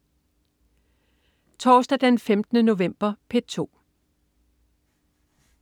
Torsdag den 15. november - P2: